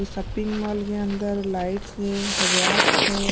ये shopping mall के अंदर लाइट्स है रेयाक है।